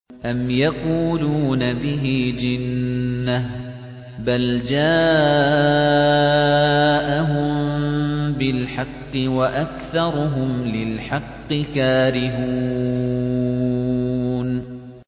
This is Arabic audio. أَمْ يَقُولُونَ بِهِ جِنَّةٌ ۚ بَلْ جَاءَهُم بِالْحَقِّ وَأَكْثَرُهُمْ لِلْحَقِّ كَارِهُونَ